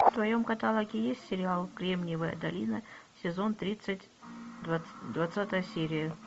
в твоем каталоге есть сериал кремниевая долина сезон тридцать двадцатая серия